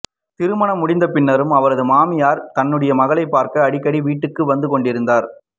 திருமணம் முடிந்த பின்னரும் அவரது மாமியார் தன்னுடைய மகளைப் பார்க்க அடிக்கடி வீட்டுக்கு வந்து கொண்டிருந்தார்